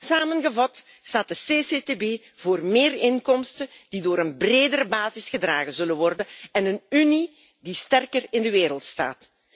Samengevat staat de CCCTB voor meer inkomsten die door een bredere basis zullen worden gedragen en een Unie die sterker in de wereld staat.